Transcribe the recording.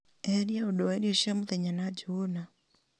eheria ũndũ wa irio cia mũthenya na njũgũna